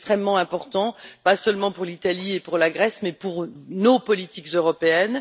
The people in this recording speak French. C'est extrêmement important, pas seulement pour l'Italie et pour la Grèce, mais pour nos politiques européennes.